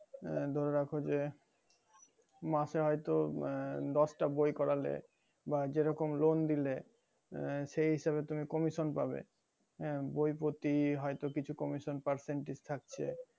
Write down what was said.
আহ ধরে রাখো যে মাসে হয়তো আহ দশটা বই করলে বা যেরকম loan দিলে আহ সেই হিসাবে তুমি commision পাবে আহ বই পতি হয়তো কিছু commision percentage থাকছে